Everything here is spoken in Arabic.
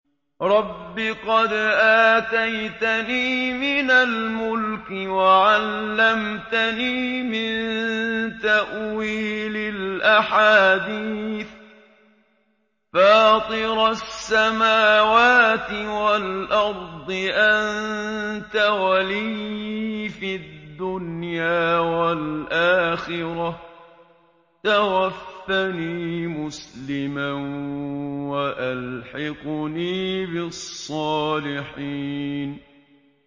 ۞ رَبِّ قَدْ آتَيْتَنِي مِنَ الْمُلْكِ وَعَلَّمْتَنِي مِن تَأْوِيلِ الْأَحَادِيثِ ۚ فَاطِرَ السَّمَاوَاتِ وَالْأَرْضِ أَنتَ وَلِيِّي فِي الدُّنْيَا وَالْآخِرَةِ ۖ تَوَفَّنِي مُسْلِمًا وَأَلْحِقْنِي بِالصَّالِحِينَ